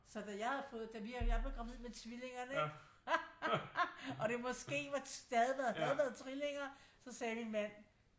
Så da jeg havde fået da vi jeg blev gravid med tvillingerne ikke og det måske det havde været trillinger så sagde min mand